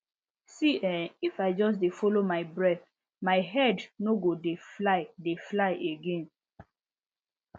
see[um]if i just dey follow my breath my head no go dey fly dey fly again